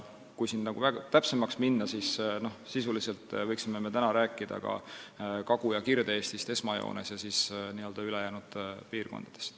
Kui siin täpsemaks minna, siis sisuliselt võiksime täna rääkida esmajoones Kagu- ja Kirde-Eestist ja siis ülejäänud piirkondadest.